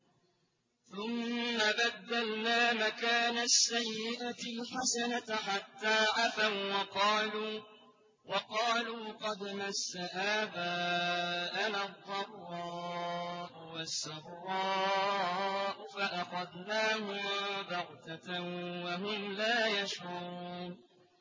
ثُمَّ بَدَّلْنَا مَكَانَ السَّيِّئَةِ الْحَسَنَةَ حَتَّىٰ عَفَوا وَّقَالُوا قَدْ مَسَّ آبَاءَنَا الضَّرَّاءُ وَالسَّرَّاءُ فَأَخَذْنَاهُم بَغْتَةً وَهُمْ لَا يَشْعُرُونَ